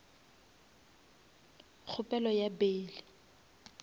kgopelo ya bail